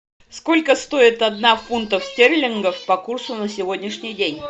сколько стоит одна фунтов стерлингов по курсу на сегодняшний день